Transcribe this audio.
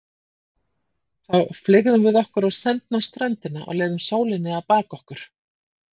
Þá fleygðum við okkur á sendna ströndina og leyfðum sólinni að baka okkur.